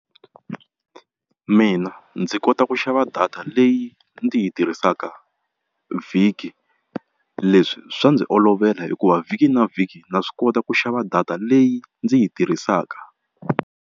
Mina ndzi kota ku xava data leyi ndzi yi tirhisaka vhiki leswi swa ndzi olovela hikuva vhiki na vhiki na swi kota ku xava data leyi ndzi yi tirhisaka.